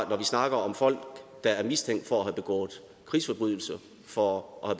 vi snakker om folk der er mistænkt for at have begået krigsforbrydelser for at